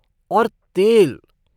और तेल!